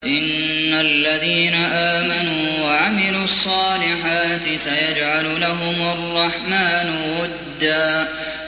إِنَّ الَّذِينَ آمَنُوا وَعَمِلُوا الصَّالِحَاتِ سَيَجْعَلُ لَهُمُ الرَّحْمَٰنُ وُدًّا